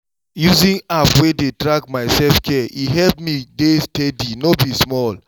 using app wey dey track my self-care e help me dey steady no be small!